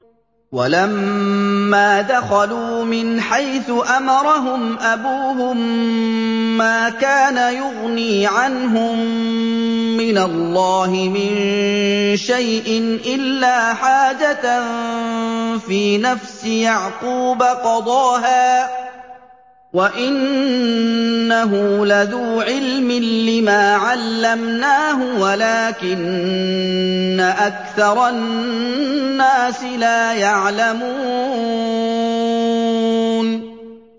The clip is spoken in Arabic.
وَلَمَّا دَخَلُوا مِنْ حَيْثُ أَمَرَهُمْ أَبُوهُم مَّا كَانَ يُغْنِي عَنْهُم مِّنَ اللَّهِ مِن شَيْءٍ إِلَّا حَاجَةً فِي نَفْسِ يَعْقُوبَ قَضَاهَا ۚ وَإِنَّهُ لَذُو عِلْمٍ لِّمَا عَلَّمْنَاهُ وَلَٰكِنَّ أَكْثَرَ النَّاسِ لَا يَعْلَمُونَ